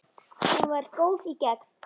Hún var góð í gegn.